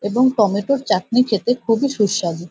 এবং টমেটোর চাটনি খেতে খুবই সুস্বাদু।